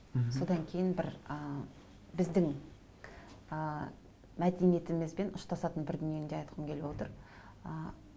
содан кейін бір ы біздің ыыы мәдениетімізбен ұштасатын бір дүниені де айтқым келіп отыр ы